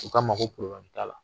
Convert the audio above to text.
U k'a ma ko probilɛmu t'a la.